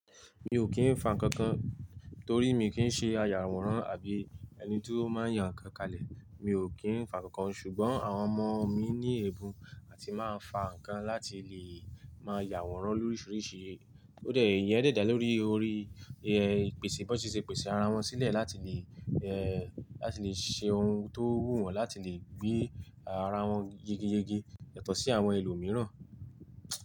Mi ò kín fá ǹkankan torí mi kì í ṣe ayàwòrán àbí ẹni tí ó máa ń ya ǹkan kalẹ̀. Mi ò kín fá ǹkankan ṣùgbọ́n àwọn ọmọ mi ní ẹ̀bùn àti máa ń fa ǹkan láti lè máa yàwòrán lórísìírísìí. Ìyẹn dà dá lórí orí, ìpèsè, b'ón ti ṣe pèsè ara wọn sílẹ̀ láti lè, láti lè ṣe ohun tó wù wọ́n láti lè gbé ara wọn yegeyege yàtọ̀ sí àwọn ẹlòmíràn.